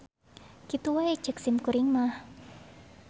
Kitu wae ceuk simkuring mah.